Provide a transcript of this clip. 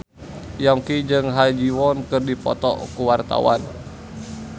Yongki jeung Ha Ji Won keur dipoto ku wartawan